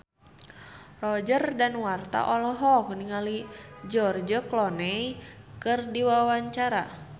Roger Danuarta olohok ningali George Clooney keur diwawancara